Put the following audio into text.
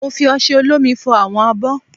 Mo fi osẹ olómi fọ àwọn abọ́